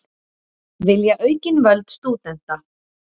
Vilja aukin völd stúdenta